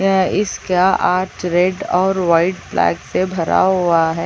यह इसका art red और वाइट ब्लैक से भरा हुआ है।